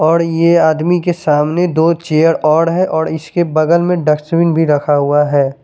और ये आदमी के सामने दो चेयर और है और इसके बगल में डस्टबिन रखा हुआ है ।